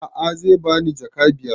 A'a zai bani jaka biyar